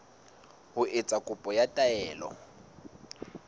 ho etsa kopo ya taelo